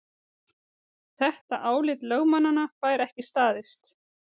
Þetta álit lögmannanna fær ekki staðist